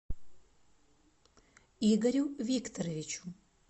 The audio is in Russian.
игорю викторовичу